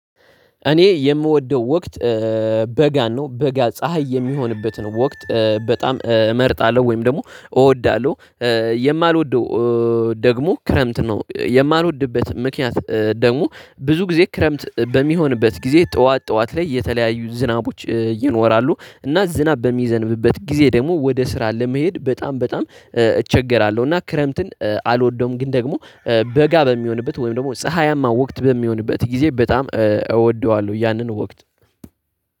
እኔ የምወደው ወቅት በጋ ነው በጋ ፀሀይ የሚሆንበትን ወቅት በጣም እመርጣለሁ ወይም ደግሞ እወዳለሁ። የማልወደው ደግሞ ክረምት ነው። የማልወድበት ምክንያት ደግሞ ብዙ ጊዜ ክረምት በሚሆንበት ጊዜ ጠዋት ጠዋት ላይ የተለያዩ ዝናቦች ይኖራሉ እና ዝናብ በሚዘንብበት ጊዜ ደግሞ ወደ ስራ ለመሄድ በጣም በጣም እቸገራለሁ። እና ክረምትን አልወደውም። ግን ደግሞ በጋ በሚሆንበት ወይም ደግሞ ፀሀያማ ወቅት በሚሆንበት ጊዜ በጣም እወደዋለሁ ያንን ወቅት።